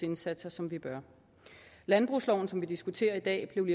indsatser som vi bør landbrugsloven som vi diskuterer i dag blev